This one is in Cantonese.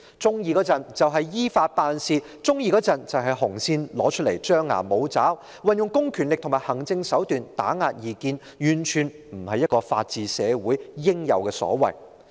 當局一時說要"依法辦事"，一時又拿出"紅線"來張牙舞爪，運用公權力和行政手段來打壓異見，這完全不是一個法治社會應有的所為。